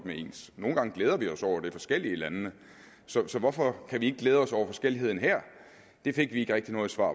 er ens nogle gange glæder vi os over det forskellige i landene så hvorfor kan vi ikke glæde os over forskelligheden her det fik vi ikke rigtig noget svar